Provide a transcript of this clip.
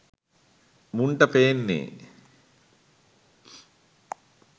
මුන්ට පේන්නෙ